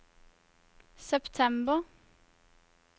september